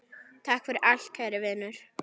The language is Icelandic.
Takk fyrir allt kæri Vinur.